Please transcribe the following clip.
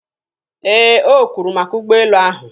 Ee, o kwuru maka ụgbọelu ahụ.